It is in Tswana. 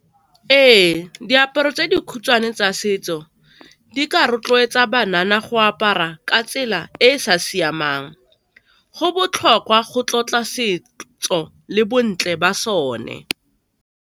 Ee, diaparo tse dikhutshwane tsa setso di ka rotloetsa banana go apara ka tsela e e sa siamang, go botlhokwa go tlotla setso le bontle ba sone.